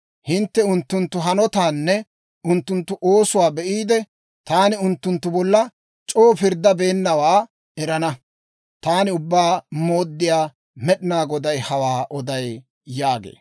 Hintte unttunttu hanotaanne unttunttu oosuwaa be'iide, taani unttunttu bolla c'oo pirddabeennawaa erana. Taani Ubbaa Mooddiyaa Med'inaa Godaa hawaa oday» yaagee.